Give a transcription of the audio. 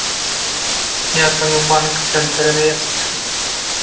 я звонил в банк центр инвест